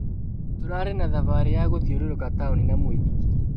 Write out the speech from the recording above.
Tũrarĩ na thabarĩ ya gũthiũrũrũka taũni na mũithikiri.